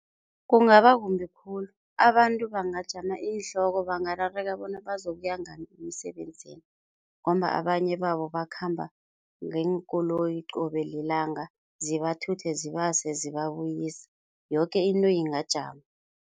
Kungaba kumbi khulu abantu bangajama iinhloko, bangaberega bona bazokuya ngani emsebenzini ngombana abanye babo bakhamba ngeenkoloyi qobe lilanga zibathuthe, zibase zibabuyise yoke into ingajama.